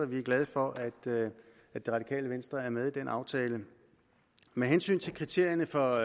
vi er glade for at det at det radikale venstre er med i den aftale med hensyn til kriterierne for